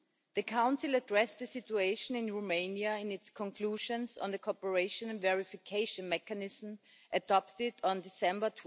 The Council addressed the situation in Romania in its conclusions on the Cooperation and Verification Mechanism adopted on 12 December